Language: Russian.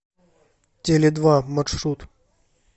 теледва маршрут